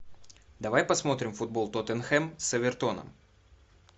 давай посмотрим футбол тоттенхэм с эвертоном